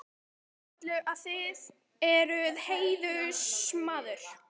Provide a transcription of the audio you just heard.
Ég sé á öllu, að þér eruð heiðursmaður.